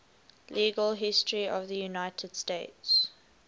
legal history of the united states